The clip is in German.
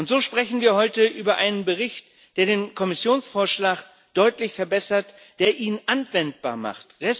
So sprechen wir heute über einen Bericht, der den Kommissionsvorschlag deutlich verbessert, der ihn anwendbar macht.